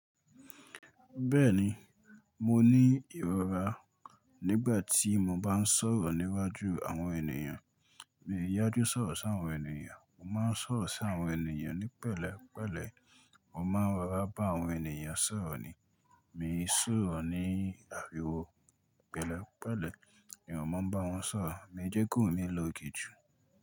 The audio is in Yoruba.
Bẹ́ẹ̀ni, mo ní ìrọra nígbà tí mo bá ń sọ̀rọ̀ níwájú àwọn ènìyàn. Mi ò yájú sọ̀rọ̀ sí àwọn ènìyàn, mo má ń sọ̀rọ̀ sí àwọn ènìyàn ní pẹ̀lẹ́pẹ̀lẹ́. Mo má ń rọra bá àwọn ènìyàn sọ̀rọ̀ ni, mi ò sòrọ̀ ní àríwó pẹ̀lẹ́pẹ̀lẹ́. Mi ò mọ̀ bá wọn sọ̀rọ̀, mi jẹ́ k'ohùn mí lókè jù.